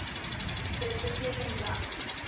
dit beteken dat